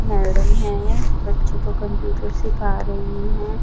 Madam है बच्चों को कंप्यूटर सीखा रही है।